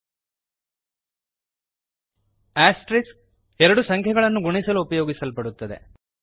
asterisk -asterisk ಎರಡು ಸಂಖ್ಯೆಗಳನ್ನು ಗುಣಿಸಲು ಉಪಯೋಗಿಸಲ್ಪಡುತ್ತದೆ